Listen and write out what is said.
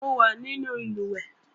Mo wà nínú ìlùwẹ̀ẹ̀